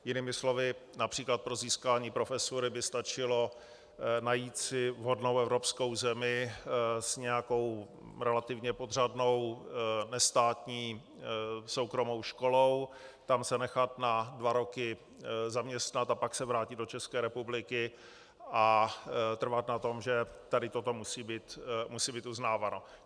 Jinými slovy, například pro získání profesury by stačilo najít si vhodnou evropskou zemi s nějakou relativně podřadnou nestátní soukromou školou, tam se nechat na dva roky zaměstnat a pak se vrátit do České republiky a trvat na tom, že tady toto musí být uznáváno.